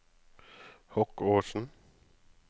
Hokkåsen